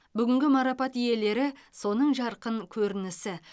бүгінгі марапат иелері соның жарқын көрінісі